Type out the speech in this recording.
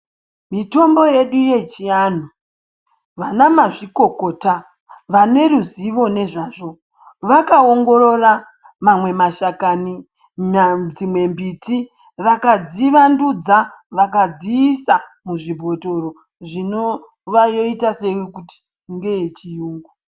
Mitombo yedu yechianhu vanamazvikokota vaneruzivo nezvazvo vakaongorora mamwe mashakani dzimwe mbiti vakadzivandudza vakadziisa muzvibhotoro zvinoyita kuti iite kungayechiyungu.